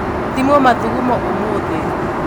Thimwo mathugumo ūmūthī.